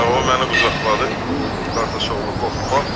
Hə, o məni qucaqladı, qardaşoğlu qorxma.